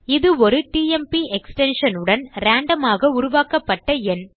இது ஒரு TMP extension உடன் ராண்டோம் ஆக உருவாக்கப்பட்ட எண்